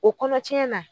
O kɔnɔ cɛn na